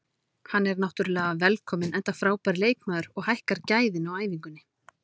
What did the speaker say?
Hann er náttúrulega velkominn enda frábær leikmaður og hækkar gæðin á æfingunni.